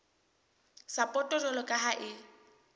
sapoto jwalo ka ha e